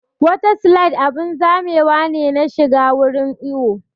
Wata slide abun zamewa ne na shiga wurin iwo